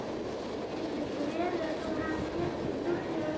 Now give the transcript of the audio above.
Getur ekki verið að þú hafir tekið vitlaust eftir?